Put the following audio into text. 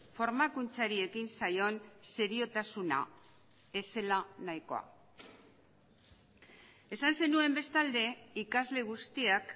formakuntzari ekin zaion seriotasuna ez zela nahikoa esan zenuen bestalde ikasle guztiak